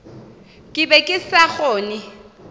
ke be ke sa kgone